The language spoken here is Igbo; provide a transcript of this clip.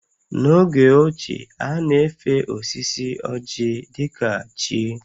N’oge ochie, a na-efe osisi ọ́jị̀ dị ka chi